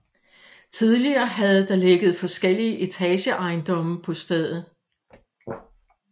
Tidligere havde der ligget forskellige etageejendomme på stedet